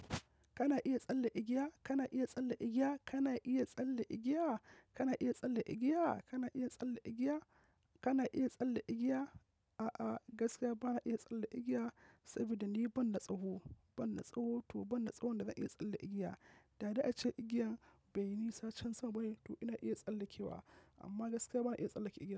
Kana iya tsalle igiya? Kana iya tsalle igiya? Kana iya tsalle igiya? Kana iya tsalle igiya? Kana iya tsalle igiya? Kana iya tsalle igiya? A'a, gaskiya bana iya tsallake igiya saboda ni bana tsawo. Banda tsawo, to banda tsawon da zan iya tsalle igiya. Da--da ce igiyan bai yi nisa can sama ba ne to ina iya tsallekewa amma gaskiya bana iya tsallake igiyan.